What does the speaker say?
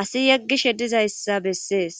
asi yeggishe dizayssa bessees.